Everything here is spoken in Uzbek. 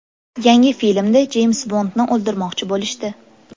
Yangi filmda Jeyms Bondni o‘ldirmoqchi bo‘lishdi.